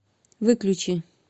выключи